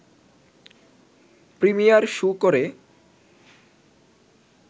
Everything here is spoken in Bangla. প্রিমিয়ার শো করে